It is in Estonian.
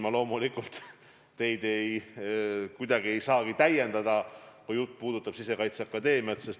Ma loomulikult ei saa teid kuidagi täiendada, kui jutt puudutab Sisekaitseakadeemiat.